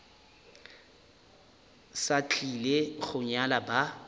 sa tlile go nyala ba